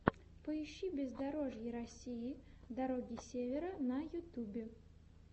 поищи бездорожье россии дороги севера на ютюбе